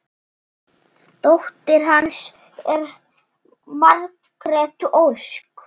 Dóttir hans er Margrét Ósk.